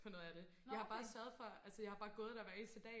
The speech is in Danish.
på noget af det jeg har bare sørget for altså jeg har bare gået der hver eneste dag